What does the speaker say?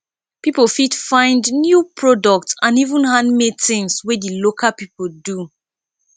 pipo fit find new product and even handmade tins wey di local pipo do